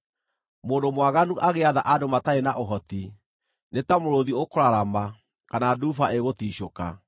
Mũndũ mwaganu agĩatha andũ matarĩ na ũhoti, nĩ ta mũrũũthi ũkũrarama, kana nduba ĩgũticũka.